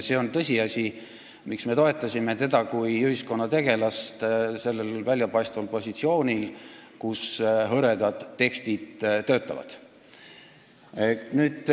See on tõsiasi, miks me toetasime teda kui ühiskonnategelast sellel väljapaistval positsioonil, kus hõredad tekstid töötavad.